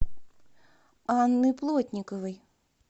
анны плотниковой